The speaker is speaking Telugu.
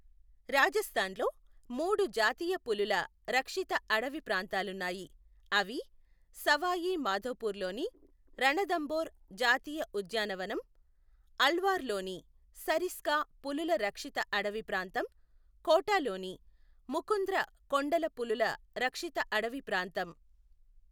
రాజస్థాన్ లో మూడు జాతీయ పులుల రక్షిత అడివి ప్రాంతాలున్నాయి, అవి సవాయి మాధోపూర్ లోని రణథంబోర్ జాతీయ ఉద్యాన వనం, అల్వార్ లోని సరిస్కా పులుల రక్షిత అడివి ప్రాంతం, కోటాలోని ముకుంద్ర కొండల పులుల రక్షిత అడివి ప్రాంతం .